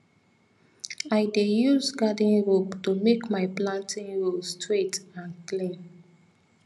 i dey use garden rope to make my planting row straight and clean